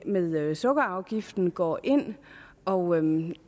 med sukkerafgiften går ind og ind